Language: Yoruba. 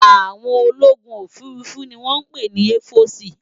Áwòn ólógún ófúrúfú ni wòn pé ni èfòsi